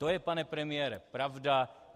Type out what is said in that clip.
To je, pane premiére, pravda.